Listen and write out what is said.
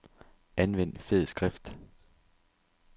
Anvend fed skrift.